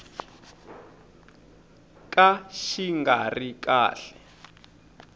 ka xi nga ri kahle